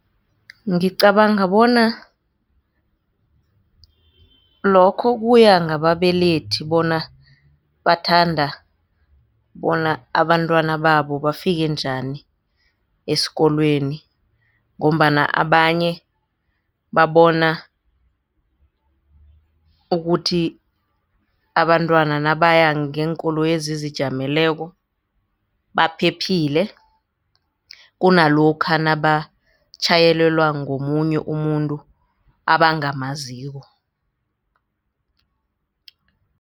Ngicabanga bona lokho kuya ngababelethi bona bathanda bona abantwana babo bafike njani esikolweni ngombana abanye babona ukuthi abantwana nabaya ngeenkoloyi ezizijameleko baphephile kunalokha nabatjhayelelwa ngomunye umuntu abangamaziko.